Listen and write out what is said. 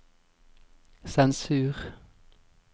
sensur